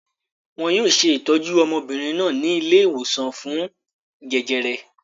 Wọn yóò ṣe ìtọ́jú ọmọbìnrin náà ní ilé-ìwòsàn fún jẹjẹrẹ.